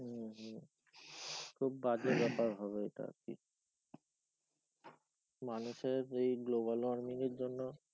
হম হম খুব বাজে ব্যাপার হবে ওইটা আর কি মানুষের এই global warming এর জন্য,